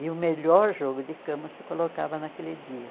E o melhor jogo de cama você colocava naquele dia.